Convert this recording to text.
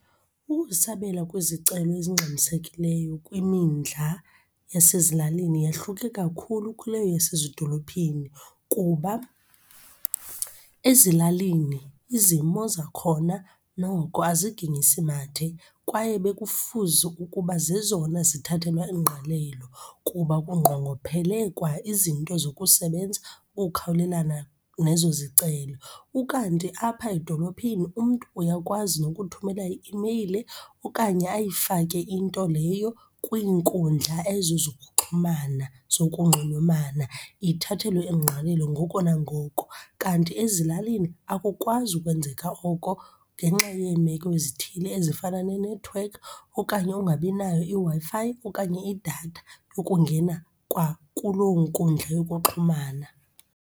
Ukusabela kwezicelo ezingxamisekileyo yasezilalini yahluke kakhulu kuleyo yasezidolophini. Kuba ezilalini izimo zakhona noko aziginyisi mathe kwaye bekufuze ukuba zezona zithathelwa ingqalelo kuba kungqongophele kwa izinto zokusebenza, ukukhawulelana nezo zicelo. Ukanti apha edolophini umntu uyakwazi nokuthumela i-imeyile okanye ayifake into leyo kwiinkundla ezo zokuxhumana, zokunxulumana, ithathelwe ingqalelo ngoko nangoko. Kanti ezilalini akukwazi ukwenzeka oko ngenxa yeemeko ezithile ezifana nenethiwekhi okanye ungabi nayo iWi-Fi okanye idatha yokungena kwakuloo nkundla yokuxhumana.